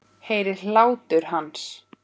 Heyri hlátur hans.